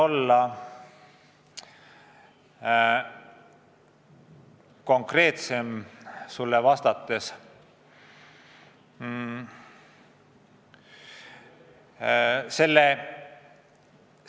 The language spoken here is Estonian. Ma püüan sulle vastates konkreetsem olla.